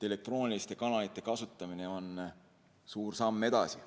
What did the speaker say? Elektrooniliste kanalite kasutamine on suur samm edasi.